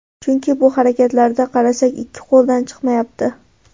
Chunki bu harakatlarda qarsak ikki qo‘ldan chiqmayapti.